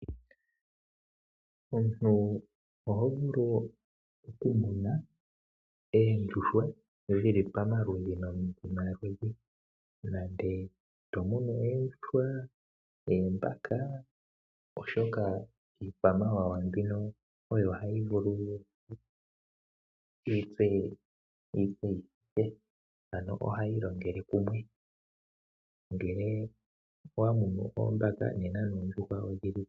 Omuntu oho vulu okumuna oondjuhwa dhi li pamaludhi nomaludhi nenge to munu oondjuhwa, oombaka, oshoka iikwamawawa mbino oyo hayi vulu yi tse yi thithe , ano ohayi longele kumwe.